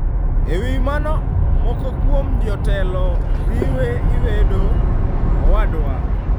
E wi mano, moko kuom jotelo riwe lwedo Owadwa.